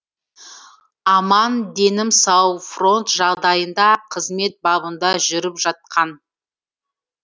аман денім сау фронт жағдайында қызмет бабында жүріп жатқан